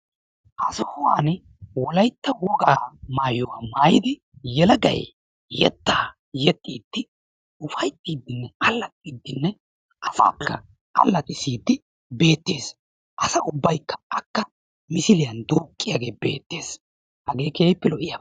Ha sohuwani wolaytta wogaa maayuwa maayidi yelagay yettaaa yexxiiddi ufayittiiddinne allaxxiiddinne afaafila allaxxissiidi beettes. Asa ubbaykka akka misiliya duuqqiyagee beettes. Hagee keehippe lo"iyaba.